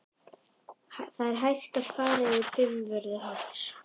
Það er hægt að ganga yfir Fimmvörðuháls.